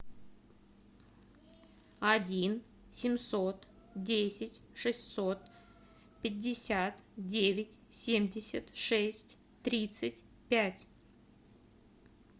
один семьсот десять шестьсот пятьдесят девять семьдесят шесть тридцать пять